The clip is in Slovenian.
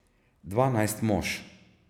Dvanajst mož!